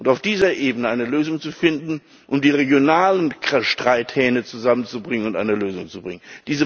Um auf dieser Ebene eine Lösung zu finden, um die regionalen Streithähne zusammenzubringen und eine Lösung zu finden.